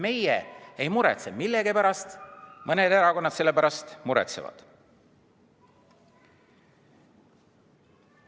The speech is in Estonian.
Meie selle pärast ei muretse, aga millegipärast mõned erakonnad muretsevad.